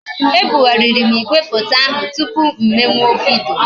E bugharịrị m igwefoto ahụ tụpụ m mewe vidiyo